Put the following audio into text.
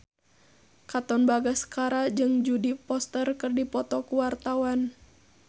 Katon Bagaskara jeung Jodie Foster keur dipoto ku wartawan